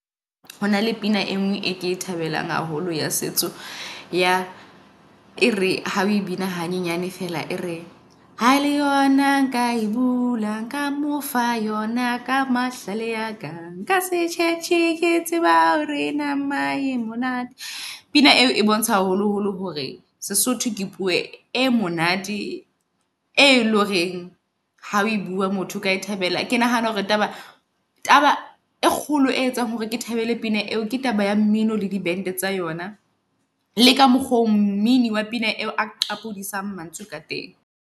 Hona le pina e ngwe e ke e thabelang haholo ya setso ya ere ha o bina hanyenyane feela. E re ha le yona nka e bula, nka mo fa yona ka mahlale aka. Nka se tjhetjhe ke tseba hore nama e monate. Pina eo e bontsha haholo holo hore Sesotho ke puo e monate e loreng ha o e bua motho o ka e thabela. Ke nahana hore taba taba e kgolo e etsang hore ke thabele pina eo, ke taba ya mmino le di bente tsa ona. Le ka mokgo mmino wa pina eo a qapodisa mantswe ka teng.